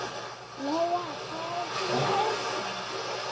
Lóa: Hvaðan kemur rósin?